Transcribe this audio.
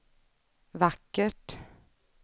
vackert